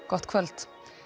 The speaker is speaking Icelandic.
gott kvöld